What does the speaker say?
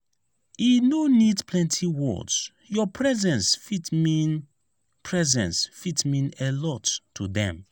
e no need plenty words your presence fit mean presence fit mean a lot to dem.